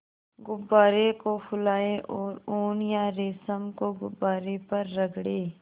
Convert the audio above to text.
गुब्बारे को फुलाएँ और ऊन या रेशम को गुब्बारे पर रगड़ें